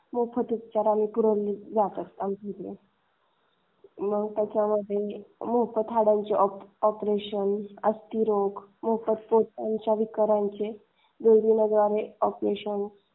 मोफत उपचार करून जातात आमच्याकडून. मग त्याच्यामध्ये मोफत हाडांची ऑपरेशन अस्थिरोग मोफत पोटाच्या विकारांचे वेगवेगळे ऑपरेशन.